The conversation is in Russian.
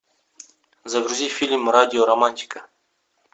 загрузи фильм радио романтика